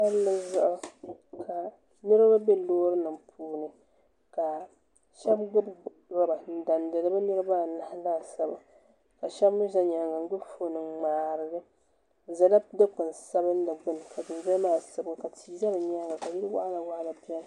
Palli zuɣu ka niriba bɛ loori nima puuni ka shɛba gbubi rɔba n dandi bi niriba anahi laasabu ka shɛba mi za yɛanga n gbubi foon n ŋmari li bi zala dukpuni sabinli gbinni ka tii za ni yɛanga ka yili wɔɣila wɔɣila bɛni.